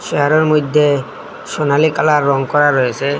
চেয়ারের মইধ্যে সোনালি কালার রঙ করা রয়েসে।